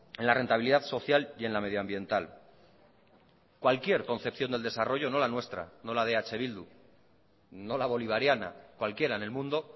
en la rentabilidad social y en la medio ambiental cualquier concepción del desarrollo no la nuestra no la de eh bildu no la bolivariana cualquiera en el mundo